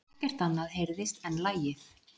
Ekkert annað heyrðist en lagið.